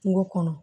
Kungo kɔnɔ